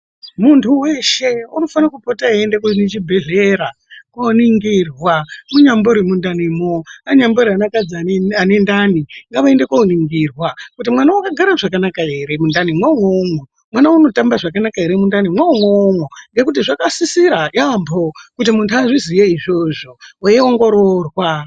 Muntu weshe unofana kupota eyienda kuzvibhehlera koningirwa munyambori mundamimwo, anyambori akadzi ane ndai ngavaende koningirwa kuti mwana wakagara zvakanaka ere mundani mwo umwomwo, mwana unotamba zvakanaka ere mundanimwo umwomwo ngekuti zvakasisira yaambo kuti muntu azviziye zvona izvozvo weiongororwa.